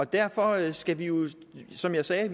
derfor skal vi jo som jeg sagde